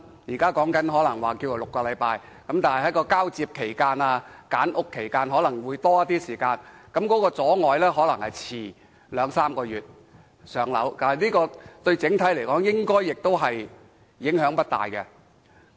現在有說法是需時6周翻新，加上交接及揀屋，可能需要更多時間，或會阻遲入住公屋兩三個月，但整體而言，應該影響不大。